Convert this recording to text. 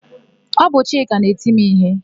Ọ bụ Chika na-eti m íhé.